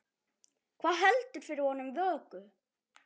Hvað heldur fyrir honum vöku?